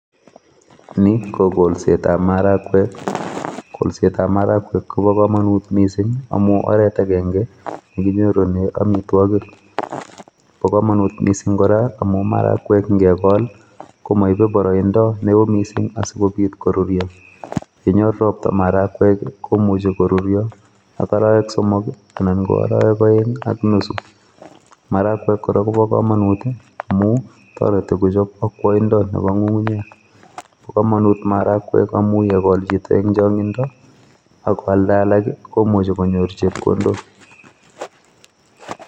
Ni ko kolsetab marakwek. Kolsetab marakwek koba kamanut mising amu oret akenge nekinyorune amitwagik. Bo komanut mising kora amu marakwek ngekol komaibe boroindo neo mising asikobit koruryo. Yenyor ropta marakwek, komuchi koruryo ak arawek somok anan ko arawek aeng ak nusu marakwek kora kobo komonut amu tareti kochop akwaindo nebo ng'ung'unyek. Bo komanut marakwek amu yekol chito eng' chang'indo akwalda alak, komuchi konyor chepkondok.